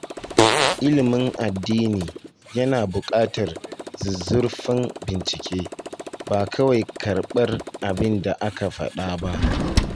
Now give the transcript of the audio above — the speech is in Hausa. Ilimin addini yana buƙatar zuzzurfan bincike, ba kawai karɓar abin da aka faɗa ba.